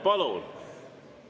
Palun!